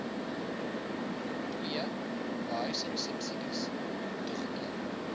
ii behuisingsubsidies toegeken